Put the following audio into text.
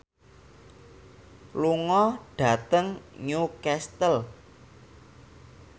lunga dhateng Newcastle